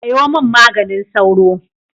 Sayo min maganin sauro.